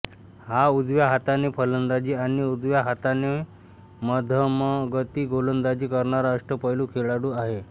हा उजव्या हाताने फलंदाजी आणि उजव्या हाताने मधमगती गोलंदाजी करणारा अष्टपैलू खेळाडू आहे